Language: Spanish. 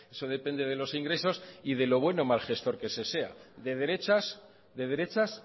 eso depende de los ingresos y de lo buen o mal gestor que ese sea de derechas